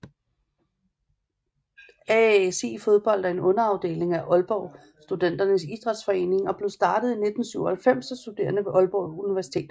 AASI Fodbold er en underafdeling af Aalborg Studenternes Idrætsforening og blev startet i 1997 af studerende ved Aalborg Universitet